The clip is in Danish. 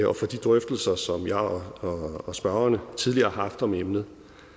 og for de drøftelser som jeg og spørgerne tidligere har haft om emnet